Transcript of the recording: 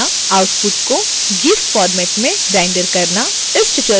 output को gif format में render करना